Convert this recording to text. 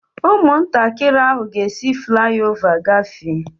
Ụmụntakịrị ahụ ga-esi fulái ová gafee